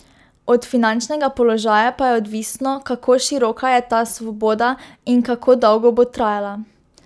Od finančnega položaja pa je odvisno, kako široka je ta svoboda in kako dolgo bo trajala.